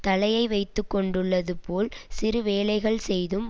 தலையை வைத்துக்கொண்டுள்ளது போல் சிறு வேலைகள் செய்தும்